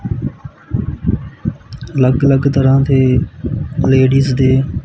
ਅੱਲਗ ਅਲੱਗ ਤਰ੍ਹਾਂ ਦੇ ਲੇਡੀਜ਼ ਦੇ--